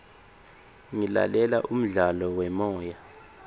ngilalela umdlalo wemoya